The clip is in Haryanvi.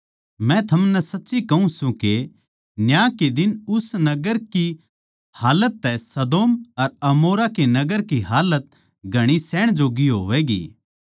मै थमनै सच्ची कहूँ सूं के न्याय के दिन उस नगर की हालत तै सदोम अर अमोरा के देश की हालत घणी सहण जोग्गी होवैगी